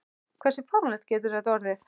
Hversu fáránlegt getur þetta orðið?